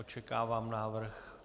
Očekávám návrh.